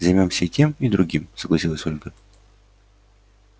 займёмся и тем и другим согласилась ольга